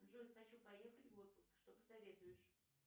джой хочу поехать в отпуск что посоветуешь